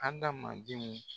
Andamandenw